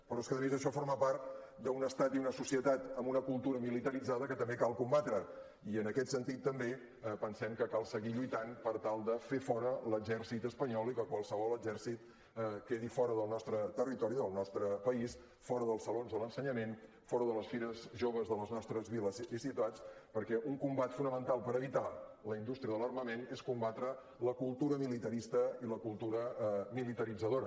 però és que a més això forma part d’un estat i una societat amb una cultura militaritzada que també cal combatre i en aquest sentit també pensem que cal seguir lluitant per tal de fer fora l’exèrcit espanyol i que qualsevol exèrcit quedi fora del nostre territori del nostre país fora dels salons de l’ensenyament fora de les fires joves de les nostres viles i ciutats perquè un combat fonamental per evitar la indústria de l’armament és combatre la cultura militarista i la cultura militaritzadora